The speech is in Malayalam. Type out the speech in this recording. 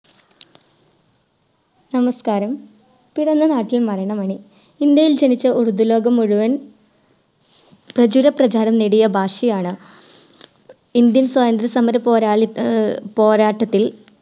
നമസ്ക്കാരം ഇന്ത്യയിൽ ജനിച്ച ഉറുദു ലോകം മുഴുവൻ പ്രചുര പ്രചാരം ഭാഷയാണ് Indian സ്വാതന്ത്ര്യ സമര പോരാളി അഹ് പോരാട്ടത്തിൽ